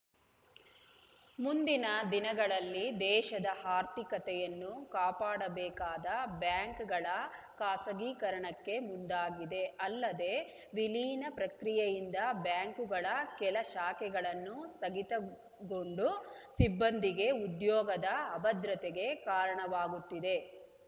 ಮುಂದಿನ ದಿನಗಳಲ್ಲಿ ದೇಶದ ಆರ್ಥಿಕತೆಯನ್ನು ಕಾಪಾಡಬೇಕಾದ ಬ್ಯಾಂಕಗಳ ಖಾಸಗೀಕರಣಕ್ಕೆ ಮುಂದಾಗಿದೆ ಅಲ್ಲದೆ ವಿಲೀನ ಪ್ರಕ್ರಿಯೆಯಿಂದ ಬ್ಯಾಂಕುಗಳ ಕೆಲ ಶಾಖೆಗಳನ್ನು ಸ್ಥಗಿತಗೊಂಡು ಸಿಬ್ಬಂದಿಗೆ ಉದ್ಯೋಗದ ಅಭದ್ರತೆಗೆ ಕಾರಣವಾಗುತ್ತಿದೆ